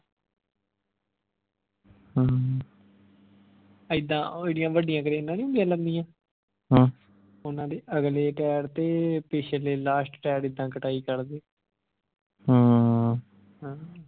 ਇੱਦਾਂ ਜਿਹੜੀਆਂ ਵੱਡਿਆਂ ਕ੍ਰੇਨਾਂ ਨਹੀਂ ਹੁੰਦੀਆਂ ਲੰਮੀਆਂ ਓਹਨਾ ਦੇ ਅਗਲੇ ਟੈਰ ਤੇ ਪਿਛਲੇ last ਟੈਰ ਦੀ ਇੱਦਾਂ ਕਟਾਈ ਕਰਦੇ ਹਾਂ